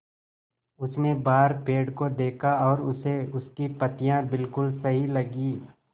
उसने बाहर पेड़ को देखा और उसे उसकी पत्तियाँ बिलकुल सही लगीं